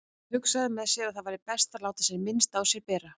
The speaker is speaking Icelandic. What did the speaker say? Hún hugsaði með sér að best væri að láta sem minnst á sér bera.